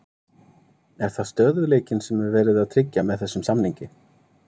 Er það stöðugleikinn sem er verið að tryggja með þessum samningi?